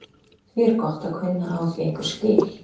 Því er gott að kunna á því einhver skil.